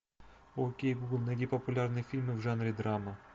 окей гугл найди популярные фильмы в жанре драма